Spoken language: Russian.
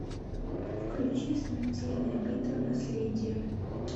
включи смертельная битва наследие